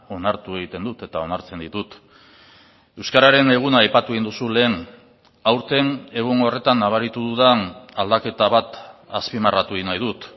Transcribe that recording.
onartu egiten dut eta onartzen ditut euskararen eguna aipatu egin duzu lehen aurten egun horretan nabaritu dudan aldaketa bat azpimarratu egin nahi dut